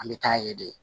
An bɛ taa ye de